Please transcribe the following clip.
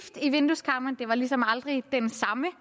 i vindueskarmene det var lige som aldrig den samme